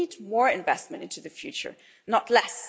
But we need more investment into the future, not less.